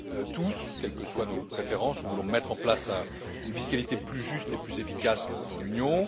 Tous, quelles que soient nos préférences, nous voulons mettre en place une fiscalité plus juste et plus efficace dans l'Union.